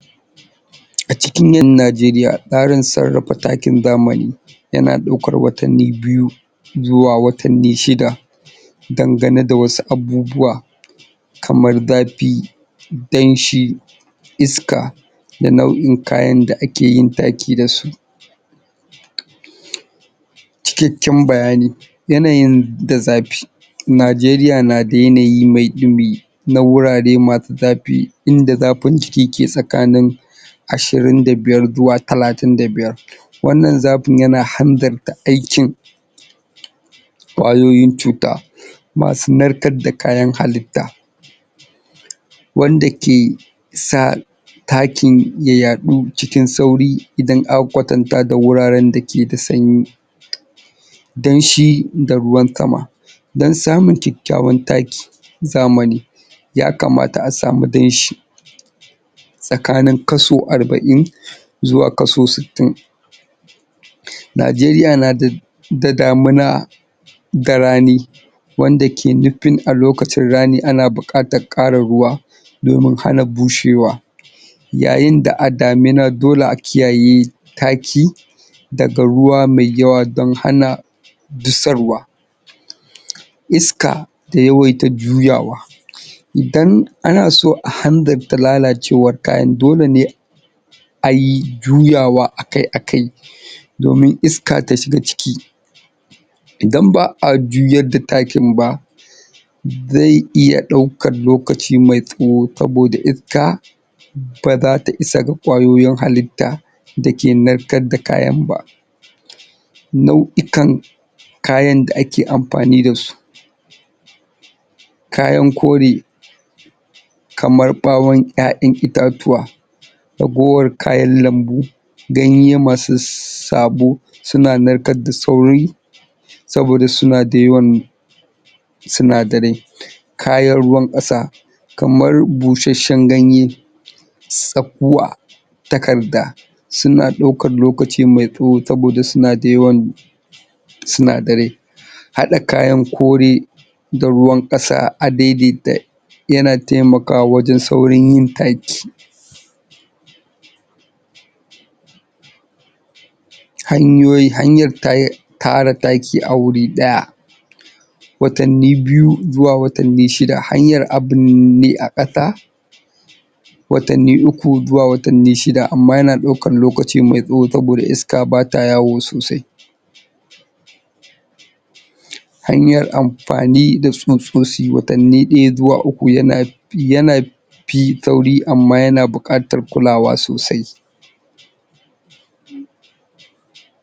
Acikin yan najeriya tsarin sarrafa takin zamani yana ɗaukar watanni biyu zuwa watanni shida dangane da wasu abubuwa kamar dafi danshi iska da nau'in kayan da ake yin taki dasu cikakken bayani yanayin da zafi najeriya na da yanayi mai ɗumi na wurare masu zafi in da zafin jiki ke tsakanin ashirin da biyar zuwa talatin da biyar wannan zafin yana hanzarta aikin ƙwayoyin cuta masu narkar da kayan halitta wanda ke sa takin ya yaɗu cikin sauri idan aka kwatanta da wuraren dake da sanyi danshi da ruwan sama dan samun kyakkyawan taki zamani ya kamata a samu danshi tsakanin kaso arba'in zuwa kaso sittin um najeriya nada da damuna da rani wanda ke nufin a lokacin rani ana buƙatar ƙara ruwa domin hana bushewa yayin da a damuna dole a kiyaye taki daga ruwa mai yawa don hana dusarwa iska da yawaita juyawa um idan ana so a hanzarta lalacewar kayan dole ne ai juyawa akai-akai domin iska ta shiga ciki idan ba'a juyar da takin ba zai iya ɗau kan lokaci mai tsawo saboda iska ba zata isa ga ƙwayoyin halitta dake narkar da kayan ba nau'ikan kayan da ake amfani dasu kayan kore kamar ɓawon ƴaƴan itatuwa ragowar kayan lambu ganye masu sssabo suna narkar da sauri saboda suna da yawan sinadarai kayan ruwan ƙasa kamar bushashshan ganye tsakuwa takarda suna ɗaukan lokaci mai tsawo saboda suna da yawan sinadarai haɗa kayan kore da ruwan ƙasa a daidaita yana taimakawa wajen saurin yin taki hanyoyi, hanyar ta tara taki a wuri ɗaya watanni biyu zuwa watanni shida hanyar a bunne a ƙasa watanni uku zuwa watanni shida amma yana ɗaukan lokaci mai tsawo saboda iska bata yawo sosai um hanyar am.. fani da tsutsosi watannin ɗaya zuwa uku yana yana fi sauri amma yana buƙatar kulawa sosai